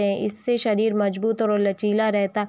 इससे शरीर मजबूत और लचीला रहता --